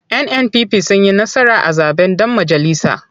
NNPP sun yi nasara a zaɓen ɗan majalisa.